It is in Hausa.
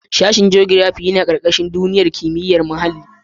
Sashen jogirafi yana ƙarƙashin tsangayar kimiyar duniya da muhalli.